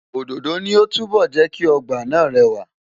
Òdòdó ni ó túbọ̀ jẹ́ kí ọgbà náà rẹwà.